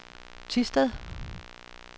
Thisted